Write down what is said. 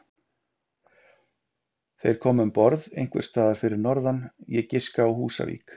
Þeir komu um borð einhvers staðar fyrir norðan, ég giska á Húsavík.